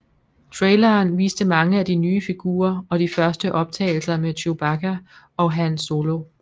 Traileren viste mange af de nye figurer og de første optagelser med Chewbacca og Han Solo